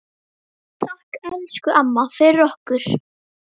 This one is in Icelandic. Takk, elsku amma, fyrir okkur.